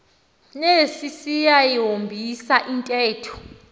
nesi siyayihombisa intetho